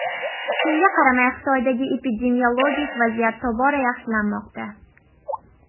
Shunga qaramay Xitoydagi epidemiologik vaziyat tobora yaxshilanmoqda .